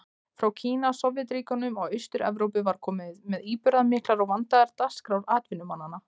Frá Kína, Sovétríkjunum og Austur-Evrópu var komið með íburðarmiklar og vandaðar dagskrár atvinnumanna.